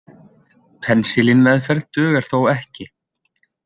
Penisilínmeðferð dugar þó ekki.